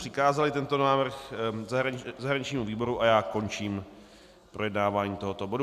Přikázali tento návrh zahraničnímu výboru a já končím projednávání tohoto bodu.